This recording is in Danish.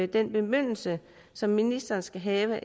den bemyndigelse som ministeren skal have